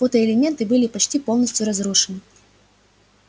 фотоэлементы были почти полностью разрушены